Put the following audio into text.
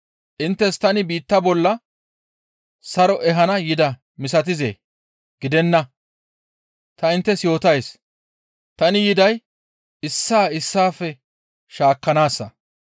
Inttes tani biitta bolla saro ehana yidaa misatizee? Gidenna; ta inttes yootays; tani yiday issaa issaafe shaakkanaassa.